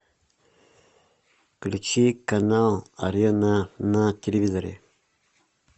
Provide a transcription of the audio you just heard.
включи канал арена на телевизоре